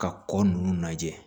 Ka kɔ ninnu lajɛ